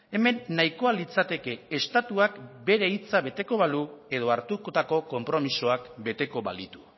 hemen nahikoa litzateke estatuak bere hitza beteko balu edo hartutako konpromisoak beteko balitu